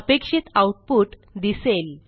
अपेक्षित आऊटपुट दिसेल